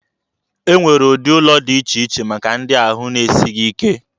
E nwere ụdị ụlọ dị iche iche maka ndị ahụ na-esighị ike.